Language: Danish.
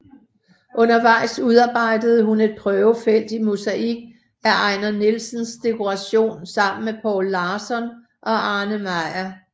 Undervejs udarbejdede hun et prøvefelt i mosaik af Ejnar Nielsens dekoration sammen med Poul Larsson og Arne Meyer